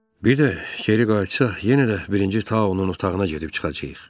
Bir də geri qayıtsaq, yenə də Birinci Taonun otağına gedib çıxacağıq.